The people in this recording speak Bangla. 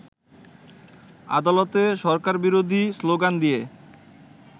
আদালতে সরকারবিরোধী শ্লোগান দিয়ে